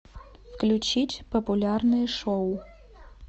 включить популярные шоу